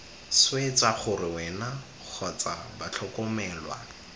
swetsa gore wena kgotsa batlhokomelwa